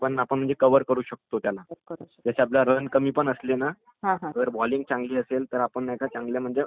हम्म् ....त्यात तुम्हाला माहित असेल तर क्रिकेट म्हणजे खूप म्हणजे खूप वर्षापूर्वीपासून सुरु झालेला आहे....आपल्या भारतामध्ये